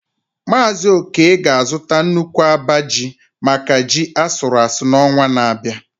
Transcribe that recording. Mazị Oke ga-azụta nnukwu abaa ji maka ji asuru asu n’ọnwa na-abịa.